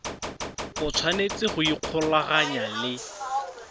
o tshwanetse go ikgolaganya le